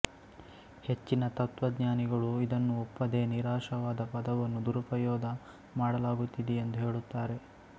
ಹೆಚ್ಚಿನ ತತ್ತ್ವಜ್ಞಾನಿಗಳು ಇದನ್ನು ಒಪ್ಪದೆ ನಿರಾಶಾವಾದ ಪದವನ್ನು ದುರುಪಯೋದ ಮಾಡಲಾಗುತ್ತಿದೆಯೆಂದು ಹೇಳುತ್ತಾರೆ